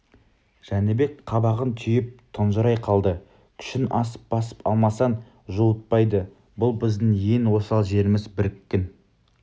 жәнібек қабағын түйіп тұнжырай қалды күшің асып басып алмасаң жуытпайды бұл біздің ең осал жеріміз біріккің